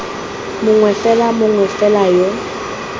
mongwe fela mongwe fela yo